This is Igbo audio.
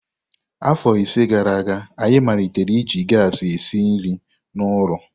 Afọ ise gara aga, anyị malitere iji gasi esi nri n'ụlọ.